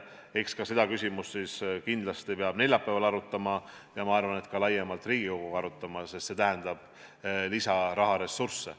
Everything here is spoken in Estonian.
Eks ka seda küsimust kindlasti peab neljapäeval arutama ja ma arvan, et ka laiemalt Riigikoguga arutama, sest see tähendab lisaraha ressurssi.